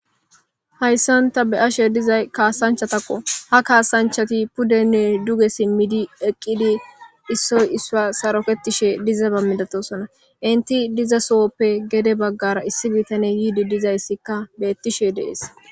hayssan ta be7ashe dizay kaasanchatakko ha kaasanchati pudenne duge simmidi eqqidi issoy issa saroketishe diza ba midatosona inti diza sohoppe gede baggara issi bitane yiidi dizayssikka beettishe deesi.